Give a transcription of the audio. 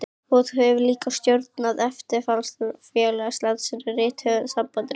Og þú hefur líka stjórnað erfiðasta félagi landsins, Rithöfundasambandinu.